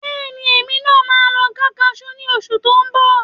Bẹ́ẹ̀ni, èmi náà máa lọ ká Kajú ní oṣù tó ń bọ̀